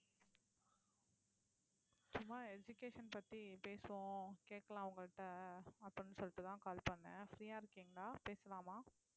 சும்மா education பத்தி பேசுவோம் கேட்கலாம் உங்கள்ட்ட அப்படின்னு சொல்லிட்டுதான் call பண்ணேன் free ஆ இருக்கீங்களா பேசலாமா